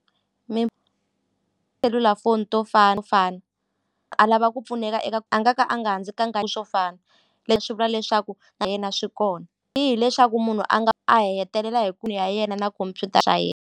selulafoni to fana to fana a lava ku pfuneka eka a nga ku a nga ha ndzi swo fana leswi vula leswaku na yena swi kona ni hileswaku munhu a nga a hetelela hi ku ya yena na ku computer swa .